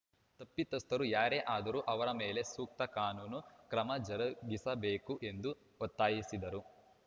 ತಪ್ಪಿತಸ್ಥರು ಯಾರೇ ಆದರೂ ಅವರ ಮೇಲೆ ಸೂಕ್ತ ಕಾನೂನು ಕ್ರಮ ಜರುಗಿಸಬೇಕು ಎಂದು ಒತ್ತಾಯಿಸಿದರು